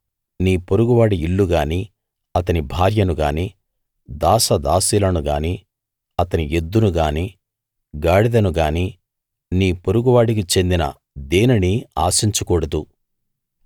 నీ పొరుగువాడి ఇల్లు గానీ అతని భార్యను గానీ దాస దాసీలను గానీ అతని ఎద్దును గానీ గాడిదను గానీ నీ పొరుగు వాడికి చెందిన దేనినీ ఆశించకూడదు